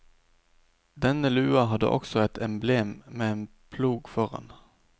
Denne lua hadde også et emblem med en plog foran.